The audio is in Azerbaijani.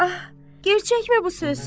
Ah, gerçəkmi bu söz?